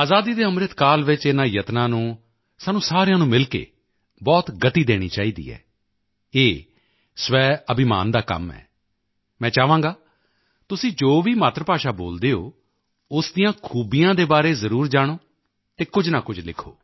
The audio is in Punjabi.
ਆਜ਼ਾਦੀ ਕੇ ਅੰਮ੍ਰਿਤ ਕਾਲ ਵਿੱਚ ਇਨ੍ਹਾਂ ਯਤਨਾਂ ਨੂੰ ਸਾਨੂੰ ਸਾਰਿਆਂ ਨੂੰ ਮਿਲ ਕੇ ਬਹੁਤ ਗਤੀ ਦੇਣੀ ਚਾਹੀਦੀ ਹੈ ਇਹ ਸਵੈਅਭਿਮਾਨ ਦਾ ਕੰਮ ਹੈ ਮੈਂ ਚਾਹਾਂਗਾ ਤੁਸੀਂ ਜੋ ਵੀ ਮਾਤ੍ਰ ਭਾਸ਼ਾ ਬੋਲਦੇ ਹੋ ਉਸ ਦੀਆਂ ਖੂਬੀਆਂ ਦੇ ਬਾਰੇ ਜ਼ਰੂਰ ਜਾਣੋ ਅਤੇ ਕੁਝ ਨਾ ਕੁਝ ਲਿਖੋ